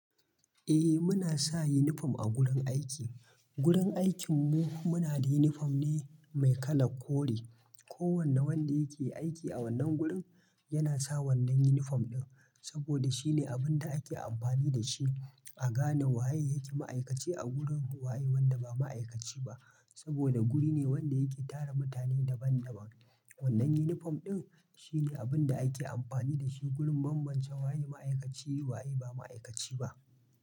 Eh muna sa unifom a gurin aiki. Gurin aikin mu muna da unifom ne mai kalar kore. Ko wanne wanda yake aiki a wannan gurin yana sa wannan unifom din saboda shine abun da ake amfani dashi a gane waye ma'aikaci a gurin waye wanda ba ma'aikaci ba saboda guri ne wanda yake tara mutane daban daban. Wannan unifom ɗin shine abin da ake amfani da shi gurin bambance waye ma'aikaci waye ba ma'aikaci ba.